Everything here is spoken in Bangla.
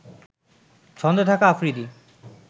ছন্দে থাকা আফ্রিদি